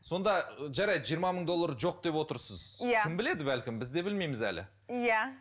сонда жарайды жиырма мың доллары жоқ деп отырсыз иә кім біледі бәлкім біз де білмейміз әлі иә